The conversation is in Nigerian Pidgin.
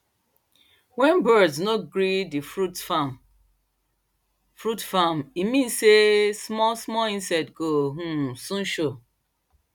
wen birds no gree the fruits farm fruits farm e mean sey small small insect go um soon show